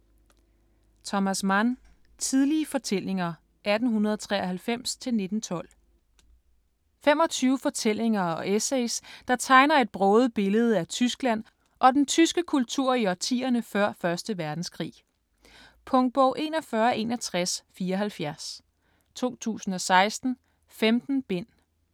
Mann, Thomas: Tidlige fortællinger 1893-1912 25 fortællinger og essays, der tegner et broget billede af Tyskland og den tyske kultur i årtierne før 1. verdenskrig. Punktbog 416174 2016. 15 bind.